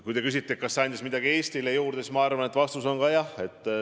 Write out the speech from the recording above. Kui te küsite, kas see andis midagi kogu Eestile juurde, siis ma arvan, et vastus on ka jah.